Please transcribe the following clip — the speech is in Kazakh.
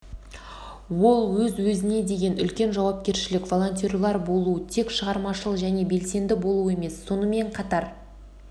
ол өз-өзіне деген үлкен жауапкершілік волонтер болу тек шығармашыл және белсенді болу емес сонымен қатар